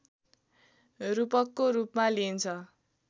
रूपकको रूपमा लिइन्छ